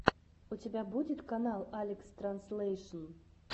у тебя будет канал алекстранзлэйшн